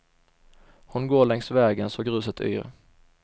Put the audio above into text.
Hon går längs vägen så gruset yr.